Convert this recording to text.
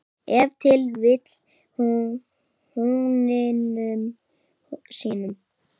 Ef til vill húninum sínum?